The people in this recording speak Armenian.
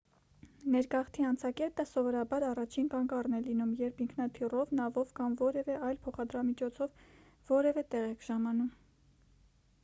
ներգաղթի անցակետը սովորաբար առաջին կանգառն է լինում երբ ինքնաթիռով նավով կամ որևէ այլ փոխադրամիջոցով որևէ տեղ եք ժամանում